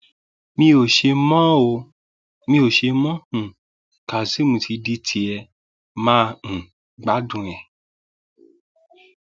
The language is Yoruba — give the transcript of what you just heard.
mi ò ṣe mọ um ọ kazeem ti di tiẹ mà um á gbádùn rẹ